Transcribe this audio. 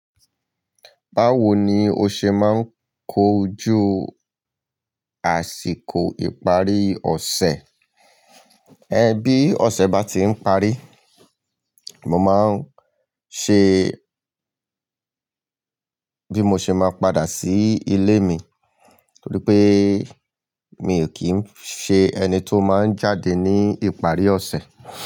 Báwo ni o ṣe máa ń kojú àsìkò ìparí ọ̀sẹ̀? Ẹ bí ọ̀sẹ̀ bá ti ń parí, mo máa ń ṣe bí mo ṣe máa padà sí ilé mi nítorí pé mi ò kí ń ṣe ẹni tí ó máa ń jáde ní ìparí ọ̀sẹ̀.